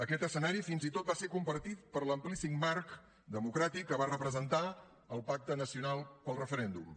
aquest escenari fins i tot va ser compartit per l’amplíssim marc democràtic que va representar el pacte nacional pel referèndum